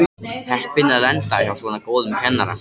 Heppin að lenda hjá svona góðum kennara.